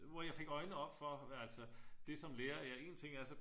Hvor jeg fik øjnene op for altså det som lærer en ting er